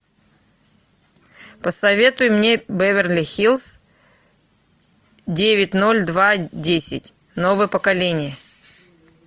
посоветуй мне беверли хиллз девять ноль два десять новое поколение